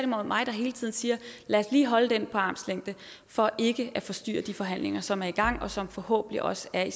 mig der hele tiden siger lad os lige holde den armslængde for ikke at forstyrre de forhandlinger som er i gang og som nu forhåbentlig også er i